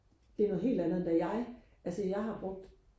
det er noget helt andet end da jeg altså jeg har brugt